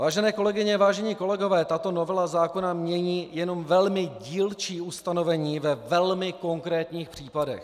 Vážené kolegyně, vážení kolegové, tato novela zákona mění jenom velmi dílčí ustanovení ve velmi konkrétních případech.